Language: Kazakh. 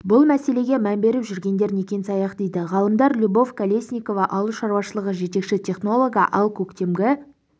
бұл мәселеге мән беріп жүргендер некен-саяқ дейді ғалымдар любовь колесникова ауыл шаруашылығы жетекші технологы ал көктемгі